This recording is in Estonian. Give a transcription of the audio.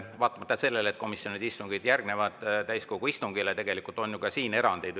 Täiskogu istungile järgnevad küll komisjonide istungid, aga tegelikult on siin ju erandeid.